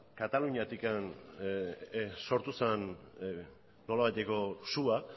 kataluniatik sortu zen nolabaiteko sua